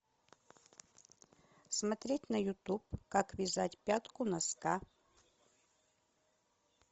смотреть на ютуб как вязать пятку носка